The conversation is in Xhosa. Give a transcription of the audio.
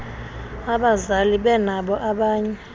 abazali benabo abanye